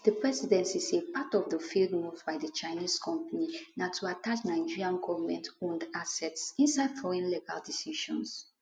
di presidency say part of di failed moves by di chinese company na to attach nigerian govmentowned assets inside foreign legal decisions